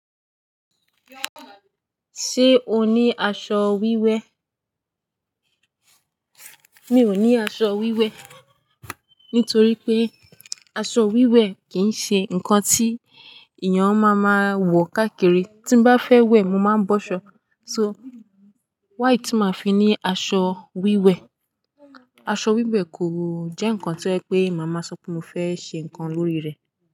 Ṣé o ní aṣọ wíwẹ̀? Mi ò ní aṣọ wíwẹ̀, nítorí pé aṣọ wíwẹ̀ kìí ṣe nǹkan tí èèyàn máa máa wọ káàkiri. Tí bá fẹ́ wẹ̀, mo máa ń bọ́ ṣọ. So why tí màá fi ní aṣọ wíwẹ̀? Aṣọ wíwẹ̀ kò jẹ́ nǹkan tí ó jẹ́ pé màá máa sọ pé mo fẹ́ ṣe nǹkan lórí rẹ̀